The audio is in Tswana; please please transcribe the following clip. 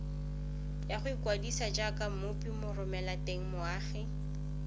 ya go ikwadisa jaaka mmopimoromelatengmoagi